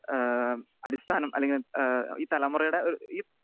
speaker 2 ഏഹ് അടിസ്ഥാനം അല്ലെങ്കിൽ ഏഹ് ഈ തലമുറയുടെ ഒരു ഈ